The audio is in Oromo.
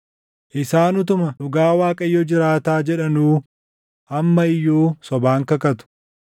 Isaan utuma ‘Dhugaa Waaqayyo jiraataa’ jedhanuu amma iyyuu sobaan kakatu.”